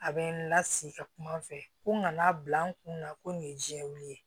A bɛ n lasigi ka kuma an fɛ ko nka bila n kun na ko nin ye jɛkulu ye